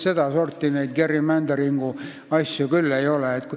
Seda sorti gerrymandering´i asju küll ei tohiks lubada.